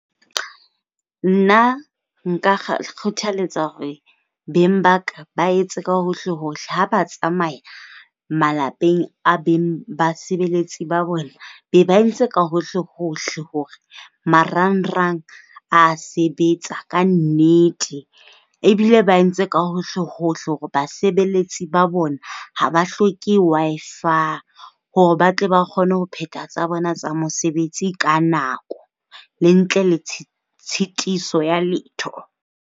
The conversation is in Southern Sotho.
Nna nka kgothaletsa hore beng ba ka ba etse ka hohlehohle ha ba tsamaya malapeng a beng basebeletsi ba bona ba entse ka hohlehohle hore marangrang a sebetsa ka nnete. Ebile ba entse ka hohlehohle hore basebeletsi ba bona ha ba hloke Wi-Fi hore ba tle ba kgone ho phethahatsa tsa bona tsa mesebetsi ka nako le ntle le tshitiso ya letho.